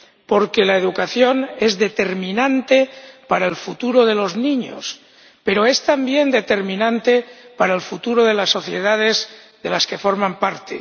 Porque la educación es determinante para el futuro de los niños, pero es también determinante para el futuro de las sociedades de las que forman parte.